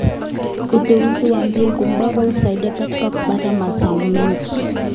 Uteuzi wa mbegu bora husaidia katika kupata mazao mengi.